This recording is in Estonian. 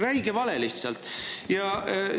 Räige vale lihtsalt!